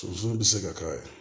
Soso bi se ka k'a ye